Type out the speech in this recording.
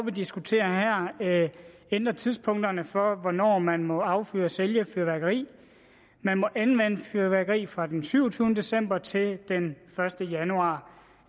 vi diskuterer her ændrer tidspunkterne for hvornår man må affyre og sælge fyrværkeri man må anvende fyrværkeri fra den syvogtyvende december til den første januar